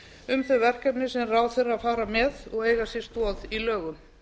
um þau verkefni sem ráðherrar fara með og eiga sér stoð í lögum